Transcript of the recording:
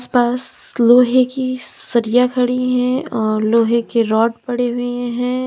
आस पास लोहे की सरिया खड़ी हैं और लोहे के रॉड पड़े हुए हैं।